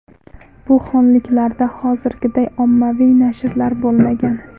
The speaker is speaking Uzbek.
Bu xonliklarda hozirgiday ommaviy nashrlar bo‘lmagan.